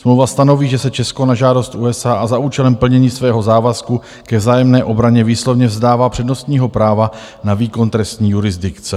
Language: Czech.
Smlouva stanoví, že se Česko na žádost USA a za účelem plnění svého závazku ke vzájemné obraně výslovně vzdává přednostního práva na výkon trestní jurisdikce.